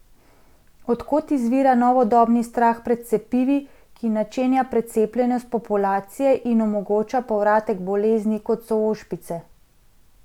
Od kod izvira novodobni strah pred cepivi, ki načenja precepljenost populacije in omogoča povratek bolezni kot so ošpice?